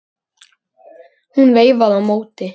Hún veifaði á móti.